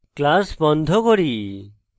class বন্ধ করি